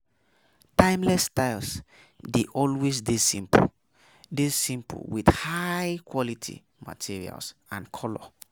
Timeless styles dey always dey simple, dey simple, with high quality materials and color